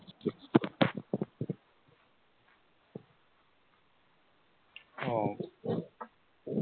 ওহ